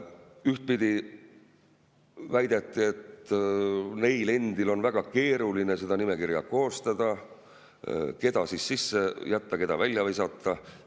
Ühtpidi väideti, et neil endil on väga keeruline seda nimekirja koostada, sest keda sisse jätta, keda välja visata.